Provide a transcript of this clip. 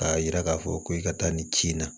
K'a yira k'a fɔ ko i ka taa nin ci in na